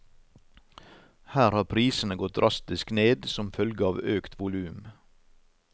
Her har prisene gått drastisk ned som følge av økt volum.